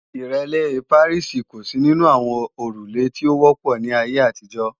Ìrẹ́lé Pàríìsì kò sí nínú àwọn òrùlé tí ó wọ́pọ̀ ní ayé àtijọ́